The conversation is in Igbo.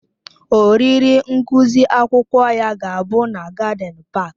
Oriri ngụsị akwụkwọ ya ga-abụ na gádịn páák